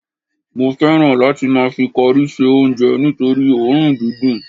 mo fẹràn láti ma fi cori se onje nitori orun didun